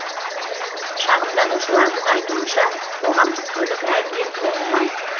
шағымданушылардың айтуынша қоғамдық көлік әбден тозған